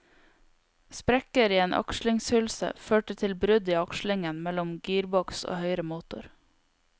Sprekker i en akslingshylse førte til brudd i akslingen mellom gearboks og høyre motor.